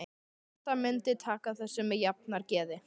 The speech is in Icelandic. Kjartan myndi taka þessu með jafnaðargeði.